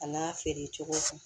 A n'a feerecogo